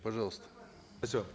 пожалуйста спасибо